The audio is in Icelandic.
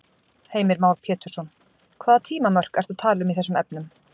Heimir Már Pétursson: Hvaða tímamörk ertu að tala um í þessum efnum?